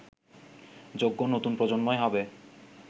যোগ্য নতুন প্রজন্মই হবে